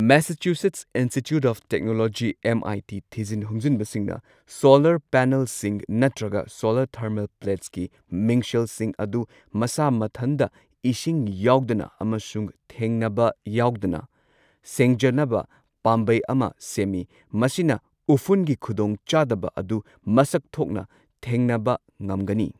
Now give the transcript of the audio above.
Massachusetts Institute of Technology MIT ꯊꯤꯖꯤꯟ ꯍꯨꯝꯖꯤꯟꯕꯁꯤꯡꯅ solar ꯄꯦꯅꯦꯜꯁꯤꯡ ꯅꯠꯇ꯭ꯔꯒ ꯁꯣꯂꯔ ꯊꯔꯃꯦꯜ ꯄ꯭ꯂꯦꯠꯁꯀꯤ ꯃꯤꯡꯁꯦꯜꯁꯤꯡ ꯑꯗꯨ ꯃꯁꯥ ꯃꯊꯟꯗ ꯏꯁꯤꯡ ꯌꯥꯎꯗꯅ ꯑꯃꯁꯨꯡ ꯊꯦꯡꯅꯕ ꯌꯥꯎꯗꯅ ꯁꯦꯡꯖꯅꯕ ꯄꯥꯝꯕꯩ ꯑꯃ ꯁꯦꯝꯃꯤ ꯃꯁꯤꯅ ꯎꯐꯨꯟꯒꯤ ꯈꯨꯗꯣꯡꯆꯥꯗꯕ ꯑꯗꯨ ꯃꯁꯛ ꯊꯣꯛꯅ ꯊꯦꯡꯅꯕ ꯉꯝꯒꯅꯤ꯫